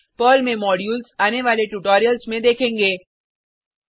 ध्यान दें पर्ल में मॉड्यूल्स आने वाले ट्यूटोरियल्स में देखेंगे